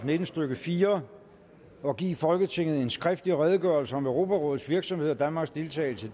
nitten stykke fire at give folketinget en skriftlig redegørelse om europarådets virksomhed og danmarks deltagelse